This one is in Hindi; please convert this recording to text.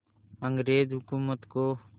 अंग्रेज़ हुकूमत को